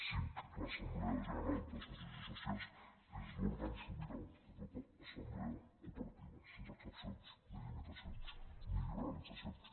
cinc l’assemblea general de socis i sòcies és l’òrgan sobirà de tota assemblea cooperativa sense excepcions ni limitacions ni liberalitzacions